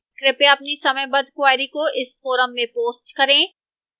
कृपया अपनी समयबद्ध queries को इस forum में post करें